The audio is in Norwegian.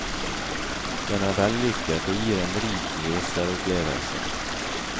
Den er vellykket og gir en rik leseropplevelse.